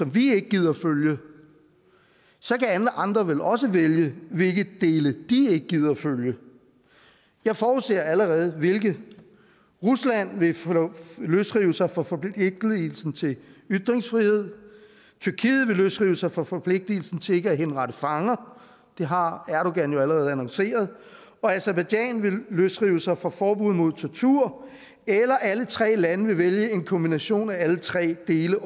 vi ikke gider følge så kan alle andre vel også vælge hvilke dele de ikke gider følge jeg forudser allerede hvilke rusland vil løsrive sig fra forpligtelsen til ytringsfrihed tyrkiet vil løsrive sig fra forpligtelsen til ikke at henrette fanger det har erdogan jo allerede annonceret og aserbajdsjan vil løsrive sig fra forbuddet mod tortur eller alle tre lande vil vælge en kombination af alle tre dele